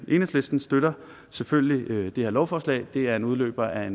enhedslisten støtter selvfølgelig det her lovforslag det er en udløber af